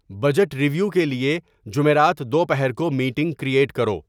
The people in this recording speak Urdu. بجٹ ریویو کے لیے جمعرات دوپہر کو میٹنگ کریئٹ کرو